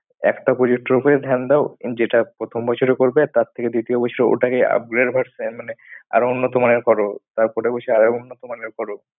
একটা project এর ওপরে ধ্যান দাও। যেটা প্রথম বছরে করবে আর তার থেকে দ্বিতীয় বছর ওটাকে upgrade version মানে আরো উন্নত মানের করো। তারপরে বসে আরো উন্নত মানের করো।